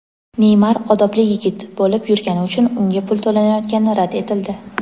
Neymar "odobli yigit" bo‘lib yurgani uchun unga pul to‘lanayotgani rad etildi.